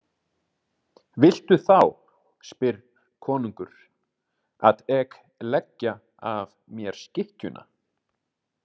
Viltu þá, spyrr konungr, „at ek leggja af mér skikkjuna“?